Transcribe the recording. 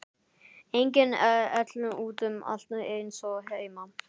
Engin ell út um allt eins og heima.